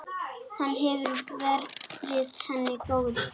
Hann hefur verið henni góður.